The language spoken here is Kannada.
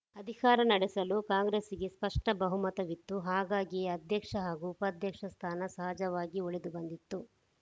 ಅಧಿಕಾರ ನಡೆಸಲು ಕಾಂಗ್ರೆಸ್‌ ಗೆ ಸ್ಪಷ್ಟಬಹುಮತವಿತ್ತು ಹಾಗಾಗಿಯೇ ಅಧ್ಯಕ್ಷ ಹಾಗೂ ಉಪಾಧ್ಯಕ್ಷ ಸ್ಥಾನ ಸಹಜವಾಗಿಯೇ ಒಲಿದು ಬಂದಿತ್ತು